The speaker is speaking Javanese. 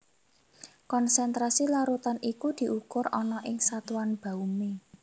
Konsentrasi larutan iku diukur ana ing satuan baumé